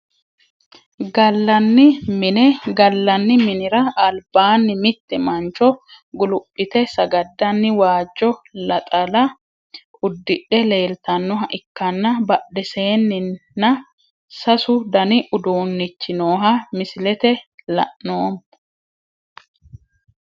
Galani mine galani minira albaani mitte mancho guluphite sagadani waajo laxala udidhe leeltanoha ikana badheseenina sasu dani uduunichi nooha mislete lanoomo.